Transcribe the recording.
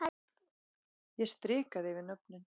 Ég strika yfir nöfnin.